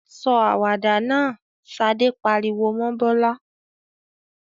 "Sọ àwàdà náà!" Ṣadé pariwo mọ́ Bọ́lá.